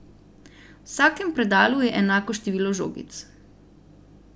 V vsakem predalu je enako število žogic.